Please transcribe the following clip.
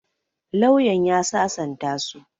Lauyan ya sasanta su.